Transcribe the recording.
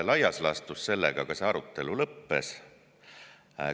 Laias laastus see arutelu sellega ka lõppes.